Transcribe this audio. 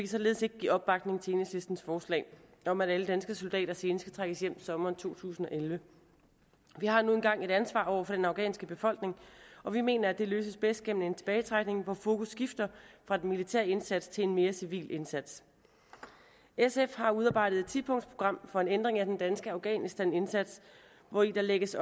således ikke give opbakning til enhedslistens forslag om at alle danske soldater senest skal trækkes hjem sommeren to tusind og elleve vi har nu engang et ansvar over for den afghanske befolkning og vi mener at det forvaltes bedst gennem en tilbagetrækning hvor fokus skifter fra den militære indsats til en mere civil indsats sf har udarbejdet et tipunktsprogram for en ændring af den danske afghanistanindsats hvori der lægges